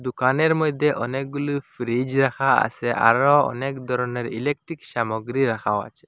দোকানের মইধ্যে অনেকগুলো ফ্রিজ রাখা আসে আরও অনেক ধরনের ইলেকট্রিক সামগ্রী রাখাও আছে।